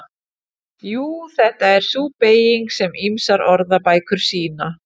Jú, þetta er sú beyging sem ýmsar orðabækur sýna.